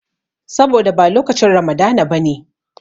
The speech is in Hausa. Saboda ba lokacin Ramadana ba ne.